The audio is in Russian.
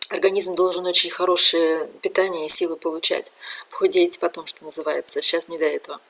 организм должен очень хорошее питание и силы получать похудеть потом что называется сейчас не до этого